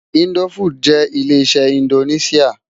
Indófúd jè lé-iṣè indónisiá